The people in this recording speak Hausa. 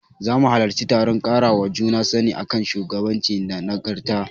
Zamu halarci taron ƙarawa juna sani a kan shugabanci da nagarta.